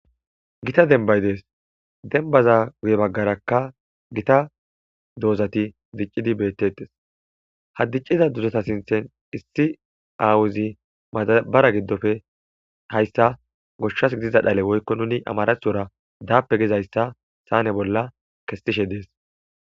gita denbay dees dembaza guye baggarakka gita doozati diccidi beettettes haddicciza duzata sinthen issi aawuzi madabara giddofe hayssa goshshas gidiza dhale woykko nuni amarathora daape gizayssa saane bolla kestishe dees